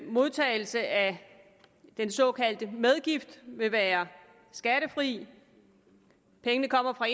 modtagelse af den såkaldte medgift vil være skattefri pengene kommer fra